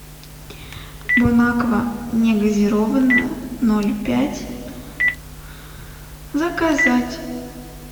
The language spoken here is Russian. бонаква негазированная ноль пять заказать